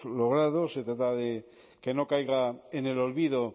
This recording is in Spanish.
logrado se trata de que no caiga en el olvido